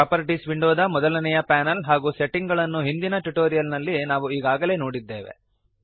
properties ವಿಂಡೋದ ಮೊದಲನೆಯ panel ಹಾಗೂ ಸೆಟ್ಟಿಂಗ್ ಗಳನ್ನು ಹಿಂದಿನ ಟ್ಯುಟೋರಿಯಲ್ ನಲ್ಲಿ ನಾವು ಈಗಾಗಲೇ ನೋಡಿದ್ದೇವೆ